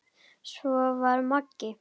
Svona var Magga.